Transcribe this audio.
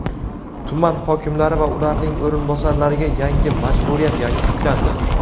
Tuman hokimlari va ularning o‘rinbosarlariga yangi majburiyat yuklandi.